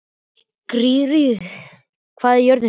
Gyðríður, hvað er jörðin stór?